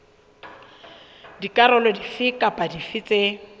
dikarolo dife kapa dife tse